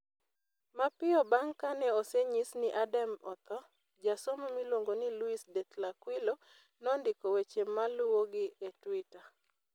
Mapiyo bang ' kane osenyis ni Adame otho, jasomo miluongo ni Luis De Tlacuilo nondiko weche maluwogi e Twitter: